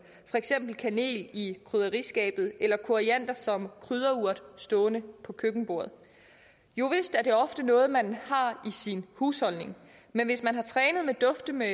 for eksempel kanel i krydderiskabet eller koriander som krydderurt stående på køkkenbordet jovist er det ofte noget man har i sin husholdning men hvis man har trænet dufte med